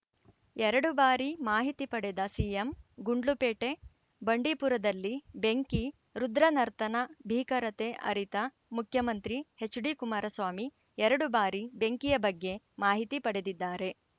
ಎರಡು ಬಾರಿ ಮಾಹಿತಿ ಪಡೆದ ಸಿಎಂ ಗುಂಡ್ಲುಪೇಟೆ ಬಂಡೀಪುರದಲ್ಲಿ ಬೆಂಕಿ ರುದ್ರ ನರ್ತನ ಬೀಕರತೆ ಅರಿತ ಮುಖ್ಯಮಂತ್ರಿ ಎಚ್‌ಡಿಕುಮಾರಸ್ವಾಮಿ ಎರಡು ಬಾರಿ ಬೆಂಕಿಯ ಬಗ್ಗೆ ಮಾಹಿತಿ ಪಡೆದಿದ್ದಾರೆ